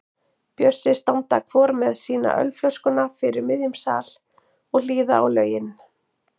Bjössi standa hvor með sína ölflöskuna fyrir miðjum sal og hlýða á lögin.